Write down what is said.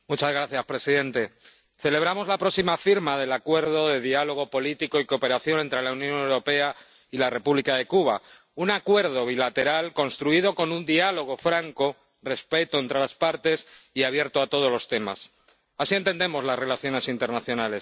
Señor presidente, celebramos la próxima firma del Acuerdo de Diálogo Político y de Cooperación entre la Unión Europea y la República de Cuba, un acuerdo bilateral construido con un diálogo franco, respeto entre las partes, y abierto a todos los temas así entendemos las relaciones internacionales.